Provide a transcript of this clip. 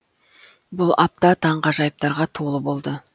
бұл апта таңғажайыптарға толы болды